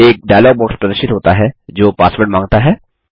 एक dialog box प्रदर्शित होता है जो पासवर्ड मांगता है